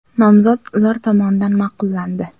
Nomzod ular tomonidan ma’qullandi.